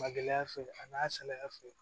Ma gɛlɛya fɛ a na salaya fɛ